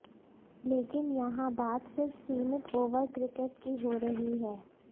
लेकिन यहां बात सिर्फ सीमित ओवर क्रिकेट की हो रही है